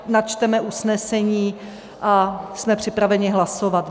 Načteme usnesení a jsme připraveni hlasovat.